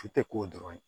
Su tɛ k'o dɔrɔn ye